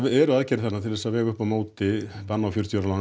eru aðgerðir þarna til að vega upp á móti banni á fjörutíu ára lánum